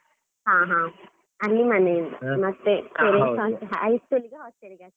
ಹ ಹ, ಅಲ್ಲಿ ಮನೆಯಿಂದ High school hostel .